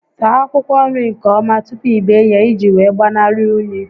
Saa akwụkwọ nri nke ọma tupu i bee ya ị ji wee gbanarị únyí